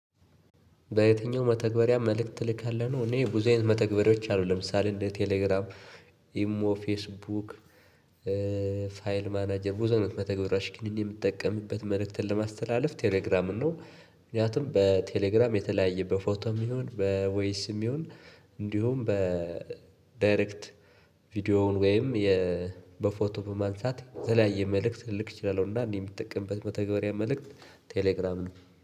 በየትኛው መተግበሪያ መልክት ትልካለክ ነው? እኔ ብዙ አይነት መተግበሪያወች አሉ ለምሳሌ እንደ ቴሌግራም ኢሞ ፌስቡክ ፋይል ማናጀር ብዙ አይነት መተግበሪያወች ግን እኔ ምጠቀምበት መልክትን ለማስተላለፍ ቴሌግራምን ነው። ምክንያቱም በቴሌግራም የተለያየ በፎቶም ይሁን በቮይስም ይሁን እንዲሁም በዳይሬክት ቪዲዮውን ወይም በፎቶ በማንሳት የተለያየ መልእክት ልልክ እችላለሁ። እና እኔ የምጠቀምበት መተገበሪያ መልእክት ቴሌግራም ነው።